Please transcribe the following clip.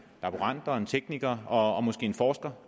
laborant og en teknikker og måske en forsker